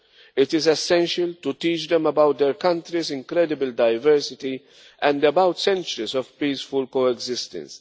war. It is essential to teach them about their country's incredible diversity and about centuries of peaceful coexistence.